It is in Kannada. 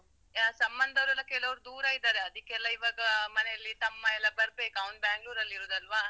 ಯಾರ್ ಸಂಬಂಧದವ್ರ್ ಎಲ್ಲಾ ಕೆಲೊವ್ರ್ ದೂರ ಇದಾರೆ, ಅದಿಕ್ಕೆಲ್ಲ ಇವಗಾ ಮನೆಲ್ಲಿ ತಮ್ಮ ಎಲ್ಲಾ ಬರ್ಬೇಕು ಅವ್ನ್ Bangalore ಅಲ್ಲಿ ಇರುದಲ್ವಾ?